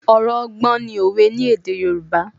Ọ̀rọ̀ ọgbọ́n ni òwe ní èdè Yorùbá